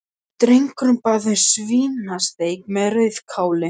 Drengurinn bað um svínasteik með rauðkáli.